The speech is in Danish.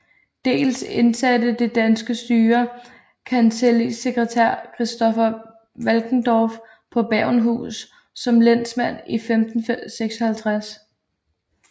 Dels indsatte det danske styre kancellisekretær Kristoffer Valkendorf på Bergenhus som lensmand i 1556